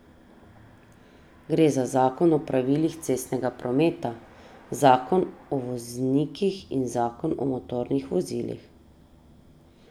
Gre za zakon o pravilih cestnega prometa, zakon o voznikih in zakon o motornih vozilih.